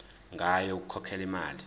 ngayo yokukhokhela imali